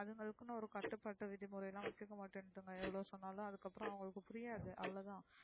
அதுங்களுக்குனு ஒரு கட்டு பாட்டு விதி முறைலா வச்சுக்க மட்டேன்கிதுங்க எவ்ளோ சொன்னாலும் அதுக்கப்றம் அவுங்களுக்கு புரியாது அவ்ளோதான்,